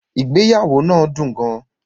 Ìgbéyàwó náà dún gán.